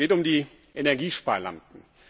Es geht um die Energiesparlampen.